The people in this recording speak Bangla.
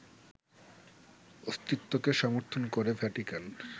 অস্তিত্বকে সমর্থন করে ভ্যাটিকান